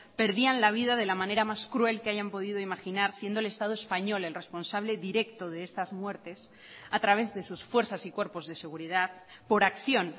perdían la vida de la manera más cruel que hayan podido imaginar siendo el estado español el responsable directo de estas muertes a través de sus fuerzas y cuerpos de seguridad por acción